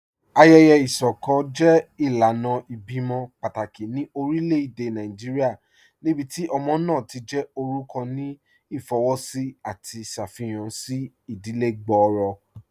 Ayẹyẹ isọkọ jẹ ilànà ibẹ̀imọ̀ pátákì ní orílẹ̀-èdè Nàìjíríà níbíti ọmọ náà ti jẹ́ orúkọ̀ ní ifowósì àti ṣáfíhàn sí ìdílẹ̀ gbọ́ọ̀rọ̀.